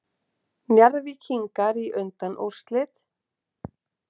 Njarðvíkingar í undanúrslit